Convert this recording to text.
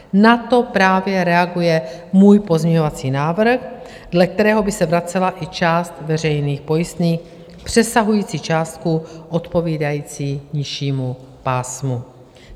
Na to právě reaguje můj pozměňovací návrh, dle kterého by se vracela i část veřejných pojistných přesahující částku odpovídající nižšímu pásmu.